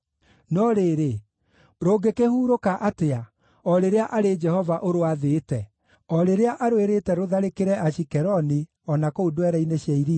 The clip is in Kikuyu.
No rĩrĩ, rũngĩkĩhuurũka atĩa, o rĩrĩa arĩ Jehova ũrwathĩte, o rĩrĩa arwĩrĩte rũtharĩkĩre Ashikeloni, o na kũu ndwere-inĩ cia iria?”